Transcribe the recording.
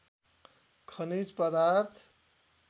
खनिज पदार्थ